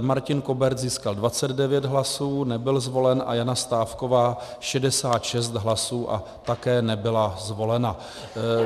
Martin Kobert získal 29 hlasů, nebyl zvolen a Jana Stávková 66 hlasů a také nebyla zvolena.